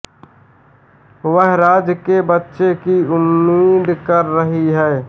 वह राज के बच्चे की उम्मीद कर रही है